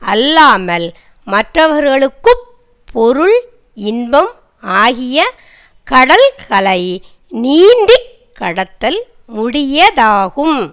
அல்லாமல் மற்றவர்களுக்கு பொருள் இன்பம் ஆகிய கடல்களை நீந்தி கடத்தல் முடியதாகும்